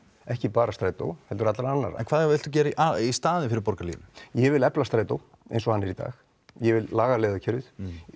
ekki bara strætó heldur allra en hvað viltu gera í staðinn fyrir Borgarlínu ég vil efla Strætó eins og hann er í dag ég vil laga vegakerfið